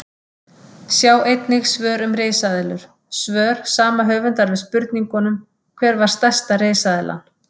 Sjá einnig fleiri svör um risaeðlur: Svör sama höfundar við spurningunum Hver var stærsta risaeðlan?